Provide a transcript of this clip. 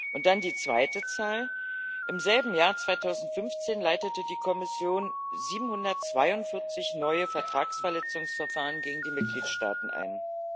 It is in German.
Und dann die zweite Zahl Im selben Jahr 2015 leitete die Kommission 742 neue Vertragsverletzungsverfahren gegen die Mitgliedstaaten ein.